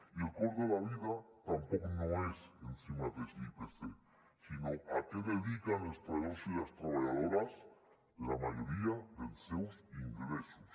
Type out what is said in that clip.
i el cost de la vida tampoc no és en si mateix l’ipc sinó a què dediquen els treballadores i les treballadores la majoria del seus ingressos